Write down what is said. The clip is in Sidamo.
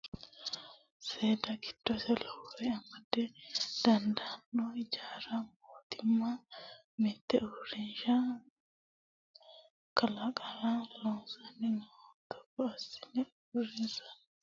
Seeda giddosi lowore amada dandaano hijaara mootimma mite uurrinsha kalaqara loossanni nooha togo assite uurrissanni loossatenni gudani gudani hadhuro lowo geeshsha faayya ikkano.